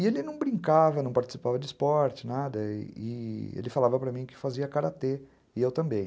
E ele não brincava, não participava de esporte, nada, e e ele falava para mim que fazia Karatê, e eu também.